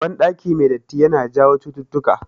Ban ɗaki mai datti yana jawo chututtuka